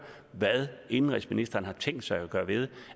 hvad indenrigsministeren har tænkt sig at gøre ved